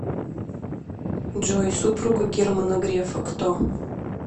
джой супруга германа грефа кто